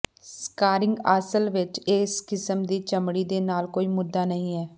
scarring ਅਸਲ ਵਿਚ ਇਸ ਕਿਸਮ ਦੀ ਚਮੜੀ ਦੇ ਨਾਲ ਕੋਈ ਮੁੱਦਾ ਨਹੀਂ ਹੈ